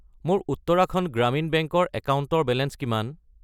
মোৰ উত্তৰাখণ্ড গ্ৰামীণ বেংক ৰ একাউণ্টৰ বেলেঞ্চ কিমান?